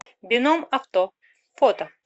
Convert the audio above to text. бином авто фото